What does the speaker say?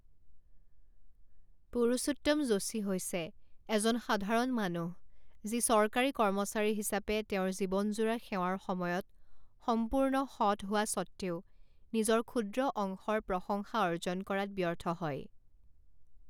পুৰুষোত্তম যোশী হৈছে এজন সাধাৰণ মানুহ যি চৰকাৰী কৰ্মচাৰী হিচাপে তেওঁৰ জীৱনজোৰা সেৱাৰ সময়ত সম্পূৰ্ণ সৎ হোৱা স্বত্বেও নিজৰ ক্ষুদ্ৰ অংশৰ প্ৰশংসা অৰ্জন কৰাত ব্যৰ্থ হয়।